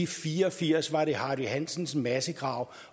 fire og firs var det hardy hansens massegrav